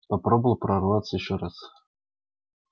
попробовал прорваться ещё раз